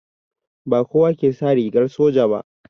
Ba kowa ke sa rigar soja ba